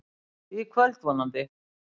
Í kvöld, vonandi.